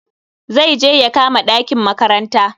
Zai je ya kama ɗakin makaranta.